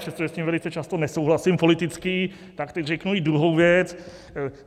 Přestože s ním velice často nesouhlasím politicky, tak teď řeknu i druhou věc.